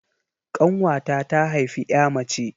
Ƙanwata ta haifi 'ya mace.